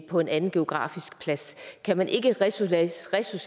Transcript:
på en anden geografisk plads kan man ikke resocialiseres